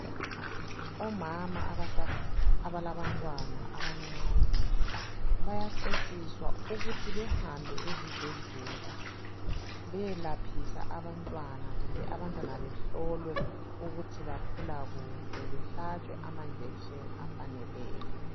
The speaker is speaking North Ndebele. Omama abalabantwana abancane, bayacetshiswa ukuthi behambe ezibhedlela. Beyelaphisa abantwana kumbe abantwana behlolwe ukuthi bakhula kuhle, behlatshe amanjekisheni afaneleyo.